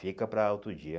Fica para outro dia.